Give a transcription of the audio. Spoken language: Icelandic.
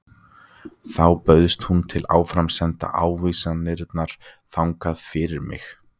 Þá bauðst hún til að áframsenda ávísanirnar þangað fyrir mig.